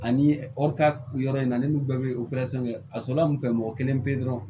Ani yɔrɔ in na ne n'u bɛɛ bɛ kɛ a sɔrɔla mun fɛ mɔgɔ kelen pe dɔrɔn